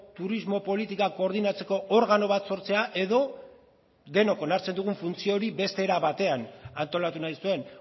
turismo politika koordinatzeko organo bat sortzea edo denok onartzen dugun funtzio hori beste era batean antolatu nahi zuen